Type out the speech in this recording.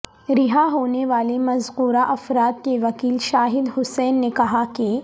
رہا ہونے والے مذکورہ افراد کے وکیل شاہد حسین نے کہاکہ